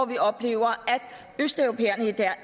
vi oplever at østeuropæerne i dag